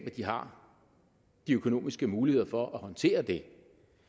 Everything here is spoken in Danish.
at de har de økonomiske muligheder for at håndtere det